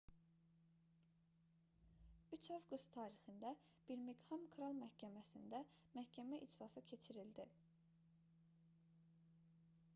3 avqust tarixində birmiqham kral məhkəməsində məhkəmə iclası keçirildi